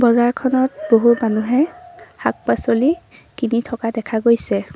বজাৰখনত বহুত মানুহে শাক-পাছলি কিনি থকা দেখা গৈছে।